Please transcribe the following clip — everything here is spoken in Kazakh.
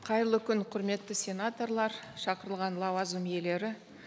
қайырлы күн құрметті сенаторлар шақырылған лауазым иелері